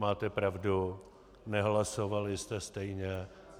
Máte pravdu, nehlasovali jste stejně.